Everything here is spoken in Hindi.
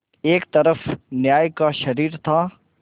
एक तरफ न्याय का शरीर था